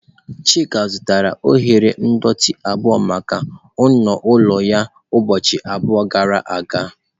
Chika zụtara oghere ndọtị abụo maka ọnụ ụlọ ya ụbọchị abụọ gara aga.